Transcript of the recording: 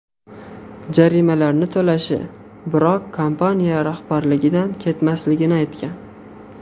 Jarimalarni to‘lashi, biroq kompaniya rahbarligidan ketmasligini aytgan.